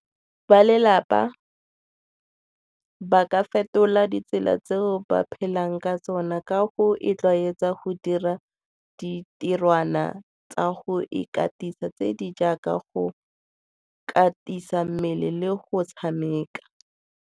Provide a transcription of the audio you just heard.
Balelapa ba ka fetola ditsela tseo ba phelang ka tsona ka go itlwaetsa go dira ditirwana tsa go ikatisa tse di jaaka go katisa mmele le go tshameka.